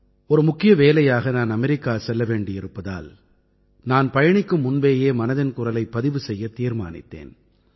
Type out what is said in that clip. ஒரு முக்கிய வேலையாக நான் அமெரிக்கா செல்ல வேண்டியிருப்பதால் நான் பயணிக்கும் முன்பேயே மனதின் குரலைப் பதிவு செய்யத் தீர்மானித்தேன்